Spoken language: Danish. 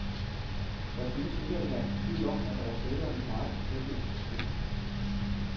Der synes ikke at herske tvivl om, at der var tale om et meget professionelt projekt.